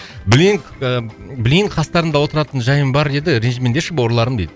блин і блин қастарыңда отыратын жайым бар еді ренжімеңдерші бауырларым дейді